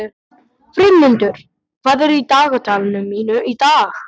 Friðmundur, hvað er á dagatalinu mínu í dag?